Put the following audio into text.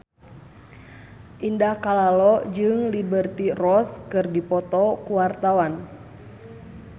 Indah Kalalo jeung Liberty Ross keur dipoto ku wartawan